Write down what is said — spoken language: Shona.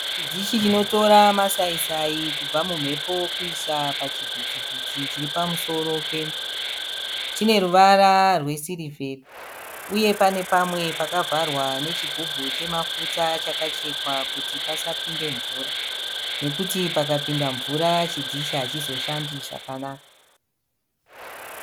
Dhishi rinotora masayisayi kubva mumhepo kuisa pachivitiviti chiripamusoro pemba. Chineruvara rwesiriva, uye panepamwe pakavarwa nechigubhu chemafuta chakachekwa kuti pasapinde mvura nekuti pakapinda mvura chidhishi achizoshande zvakanaka.